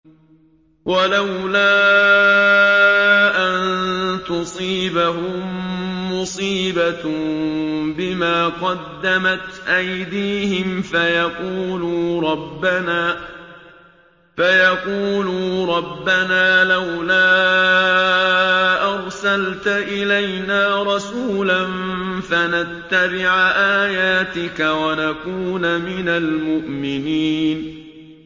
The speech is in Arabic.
وَلَوْلَا أَن تُصِيبَهُم مُّصِيبَةٌ بِمَا قَدَّمَتْ أَيْدِيهِمْ فَيَقُولُوا رَبَّنَا لَوْلَا أَرْسَلْتَ إِلَيْنَا رَسُولًا فَنَتَّبِعَ آيَاتِكَ وَنَكُونَ مِنَ الْمُؤْمِنِينَ